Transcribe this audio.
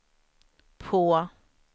på